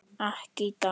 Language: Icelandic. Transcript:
Ekki í dag.